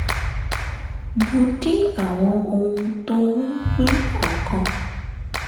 mo dín àwọn ohun tó ń pín ọkàn